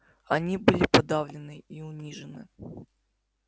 они были подавлены и унижены